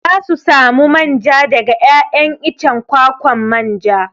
Za su samu manja daga 'ya'yan icen kwakwan manja.